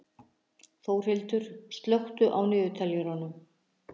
Þórhildur, slökktu á niðurteljaranum.